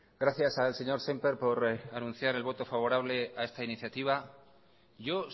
gracias al señor sémper por anuncias el voto favorable a esta iniciativa yo